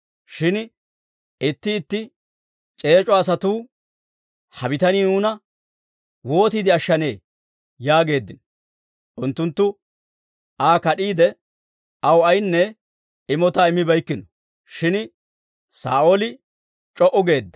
Shin itti itti c'eec'o asatuu, «Ha bitanii nuuna wootiide ashshanee?» yaageeddino; unttunttu Aa kad'iide, aw aynne imotaa immibeykkino. Shin Saa'ooli c'o"u geedda.